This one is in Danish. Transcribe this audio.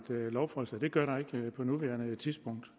lovforslag